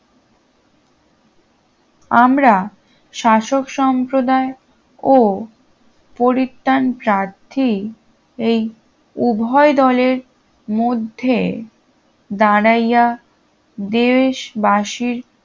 আমরা শাসক সম্প্রদায় ও পরিত্যান প্রার্থী এই উভয় দলের মধ্যে দাঁড়াইয়া দেশবাসীর